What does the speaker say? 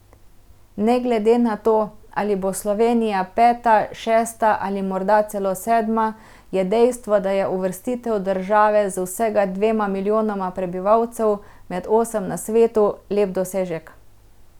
Ne glede na to, ali bo Slovenija peta, šesta ali morda celo sedma, je dejstvo, da je uvrstitev države z vsega dvema milijonoma prebivalcev med osem na svetu, lep dosežek.